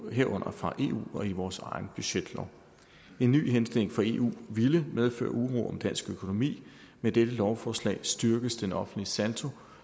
herunder fra eu og i vores egen budgetlov en ny henstilling fra eu ville medføre uro om dansk økonomi med dette lovforslag styrkes den offentlige saldo